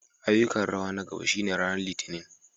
Ayyukan rawa na gaba shine ranar Litinin.